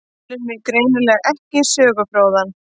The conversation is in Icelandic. Telur mig greinilega ekki sögufróða.